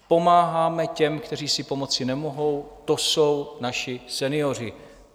Pomáháme těm, kteří si pomoci nemohou, to jsou naši senioři.